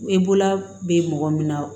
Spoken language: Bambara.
E bolola bɛ mɔgɔ min na